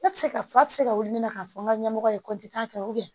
Ne tɛ se ka fa tɛ se ka wuli ne na k'a fɔ n ka ɲɛmɔgɔ ye kɛ